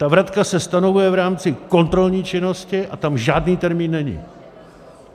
Ta vratka se stanovuje v rámci kontrolní činnosti a tam žádný termín není.